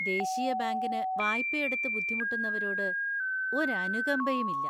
ദേശീയ ബാങ്കിന് വായ്പയെടുത്ത് ബുദ്ധിമുട്ടുന്നവരോട് ഒരു അനുകമ്പയും ഇല്ല.